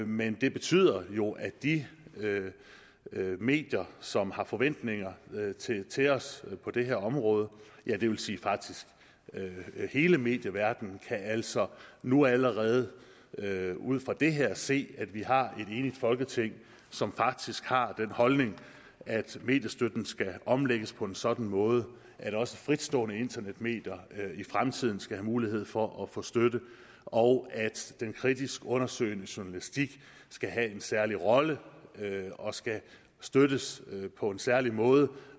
men det betyder jo at de medier som har forventninger til os på det her område det vil sige faktisk hele medieverdenen altså nu allerede ud fra det her kan se at vi har et enigt folketing som faktisk har den holdning at mediestøtten skal omlægges på en sådan måde at også fritstående internetmedier i fremtiden skal have mulighed for at få støtte og at den kritisk undersøgende journalistik skal have en særlig rolle og skal støttes på en særlig måde